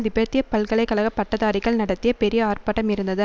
திபெத்திய பல்கலை கழக பட்டதாரிகள் நடத்திய பெரிய ஆர்ப்பாட்டம் இருந்தது